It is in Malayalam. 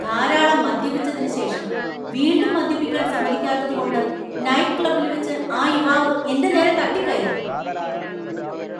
ധാരാളം മദ്യപിച്ചതിന് ശേഷം വീണ്ടും മദ്യപിക്കാൻ സമ്മതിക്കാത്തതുകൊണ്ട് നൈറ്റ് ക്ലബ്ബിൽവെച്ച് ആ യുവാവ് എന്‍റെ നേരെ തട്ടിക്കയറി.